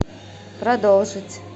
продолжить